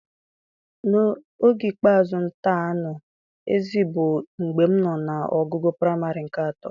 Oge ikpeazụ m tar anụ ezi bụ mgbe m nọ na ogugo praịmarị nke atọ